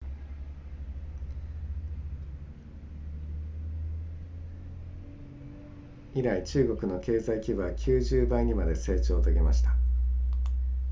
以来中国の経済規模は90倍にまで成長を遂げました